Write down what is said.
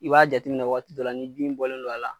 I b'a jateminɛ wagati dɔ la ni bin bɔlen don a la